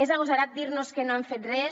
és agosarat dir nos que no hem fet res